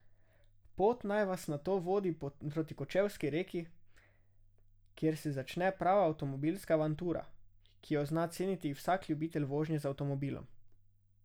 Pot naj vas nato vodi proti Kočevski reki, kjer se začne prava avtomobilska avantura, ki jo zna ceniti vsak ljubitelj vožnje z avtomobilom.